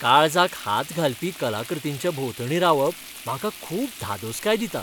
काळजाक हात घालपी कलाकृतींच्या भोंवतणी रावप म्हाका खूब धादोसकाय दिता.